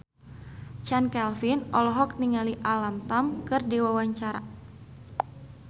Chand Kelvin olohok ningali Alam Tam keur diwawancara